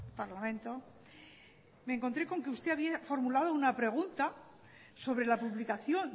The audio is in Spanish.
parlamento me encontré con que usted había formulado una pregunta sobre la publicación